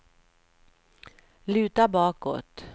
luta bakåt